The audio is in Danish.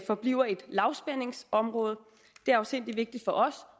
forbliver et lavspændingsområde det er afsindig vigtigt for os